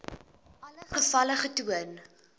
alle gevalle getoon